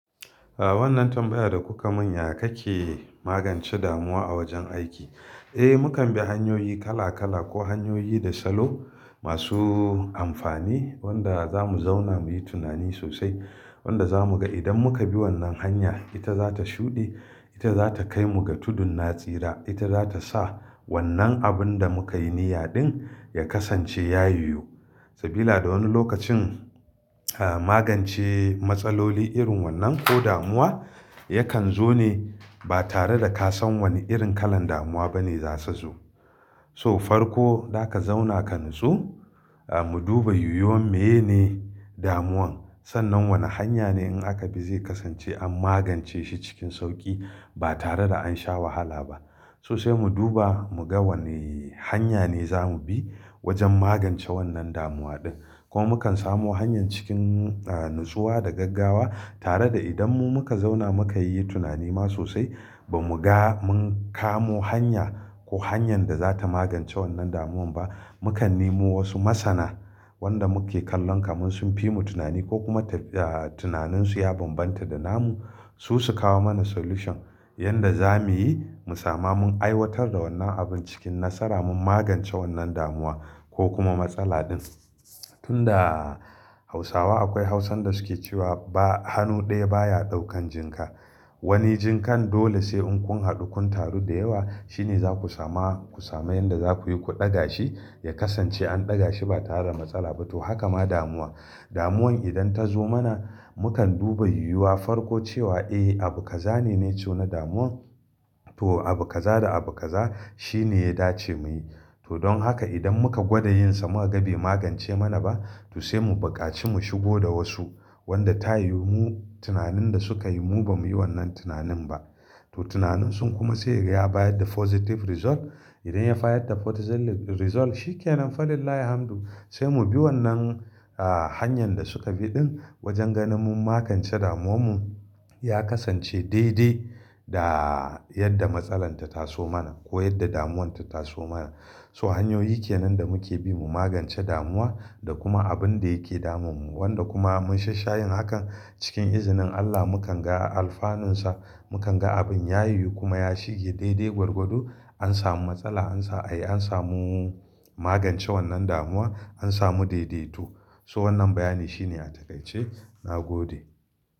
Ah, wannan tambaya da kuka mun ya kake magance damuwa a wajen aiki? Eh, mu kan bi hanyoyi kala kala ko hanyoyi da salo masu amfani wanda za mu zauna muyi tunani sosai. Wanda za mu ga idan muka bi wannan hanya, ita za ta shuɗe, ita za ta kai mu ga tudun natsira, ita za ta sa wannan abun da muka yi niyya din ya kasance ya yiyu. Sabila da wani lokacin, ah magance matsaloli irin wannan ko damuwa yakan zo ne ba tare da ka san wani irin kalan damuwa bane za su zo. To farko, za ka zauna ka nitsu, ah mu duba yiwuwan miyene damuwan. Sannan wane hanya ne in aka bi zai kasance an magance shi cikin sauki ba tare da an sha wahala ba. Sosai mu duba mu ga wane hanya ne za mu bi wajen magance wannan damuwa ɗin. Ko mu kan samu hanyar cikin, ah natsuwa da gaggawa tare da idan mu muka zauna muka yi tunani ma sosai ba mu ga mun kamo hanya ko hanyar da za ta magance wannan damuwan ba, mu kan nemo wasu masana wanda muke kallon kaman sun fi mu tunani ko kuma ta, ah tunaninsu ya bambanta da namu. Su su kawo mana solution yanda za muyi mu sama mun aiwatar da wannan abun cikin nasara mun magance wannan damuwa ko kuma matsala din. Tunda Hausawa akwai Hausan da suke cewa ba-- hannu ɗaya baya ɗaukan jinga. Wani jingan dole sai unkun haɗu kun taru da yawa shine za ku sama, ku sami yanda za kuyi ku ɗaga shi ya kasance an ɗaga shi ba tare da matsala ba. To, haka ma damuwa. Damuwan idan ta zo mana, mu kan duba yiwuwa farko cewa eh, abu kaza ne ne co na damuwan. To, abu kaza da abu kaza shine ya dace muyi. To, don haka idan muka gwada yin sa muka ga bai magance mana ba, to sai mu buƙaci mu shigo da wasu wanda ta yi mu tunanin da suka yi mu ba mu yi wannan tunanin ba. To, tunanin sun kuma sai ya bayar da positive result. Idan ya bayar da positive result, shi ke nan falillah alhamdu. Sai mu bi wannan, ah hanyar da suka bi ɗin wajen ganin mun magance damuwan mu ya kasance daidai da yadda matsalar ta taso mana ko yadda damuwan ta taso mana. So hanyoyi ke nan da muke bi mu magance damuwa da kuma abun da yake damun mu wanda kuma mun shash shayin hakan cikin izinin Allah mu kan ga a alfanunsa, mu kan ga abin ya yiyu kuma ya shige daidai gwargwado. An samu matsala, an sa, ai an samu magance wannan damuwa, an samu daidaito. To wannan bayani shine a takaice. Na gode.